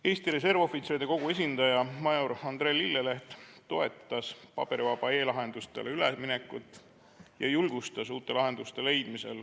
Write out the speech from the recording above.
Eesti Reservohvitseride Kogu esindaja major Andre Lilleleht toetas paberivabadele e-lahendustele üleminekut ja julgustas uusi lahendusi leidma.